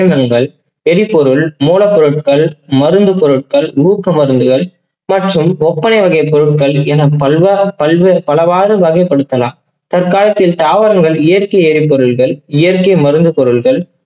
எரிபொருள் மூலப்பொருட்கள், மருந்து பொருட்கள், ஊக்க மருந்துகள் மற்றும் ஒப்பனை வகை பொருட்கள் என பல்~ பல்வாறு பலவாறு வகைபடுத்தலாம். தர்காலத்தில் தாவரங்கள் இயற்க்கை எரிபொருட்கள் இயற்க்கை மருந்து பொருட்கள்